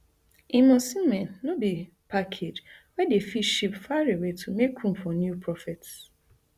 im osimhen no be package wey dem fit ship far away to make room for new prophets